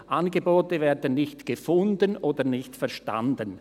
Angebote werden nicht gefunden oder nicht verstanden.